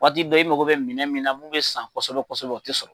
Daga bɛɛ i mago bɛ minɛ min na n'u bɛ san kɔsɔbɛ kɔsɔɛ o tɛ sɔrɔ.